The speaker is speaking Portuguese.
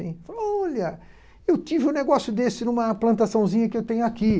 Falou Olha, eu tive um negócio desse numa plantaçãozinha que eu tenho aqui.